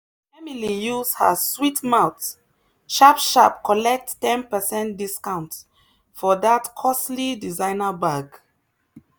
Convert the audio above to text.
emily use her sweet mouth sharp sharp collect ten percent discount for that costly designer bag.